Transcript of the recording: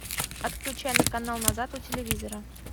отключай на канал назад у телевизора